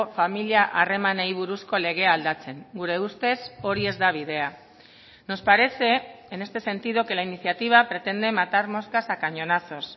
familia harremanei buruzko legea aldatzen gure ustez hori ez da bidea nos parece en este sentido que la iniciativa pretende matar moscas a cañonazos